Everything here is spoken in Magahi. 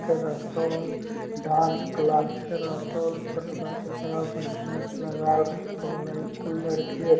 के रहतोल डांस क्लास के रहतोल फ़ोटवा ते बड़ा बढ़िया से लगाल रहतोल ।